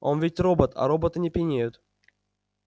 он ведь робот а роботы не пьянеют